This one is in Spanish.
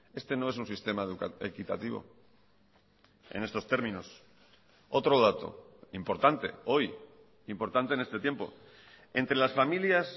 este no es un sistema equitativo en estos términos otro dato importante hoy importante en este tiempo entre las familias